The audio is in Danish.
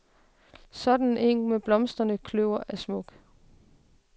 Sådan en eng med blomstrende kløver er smuk.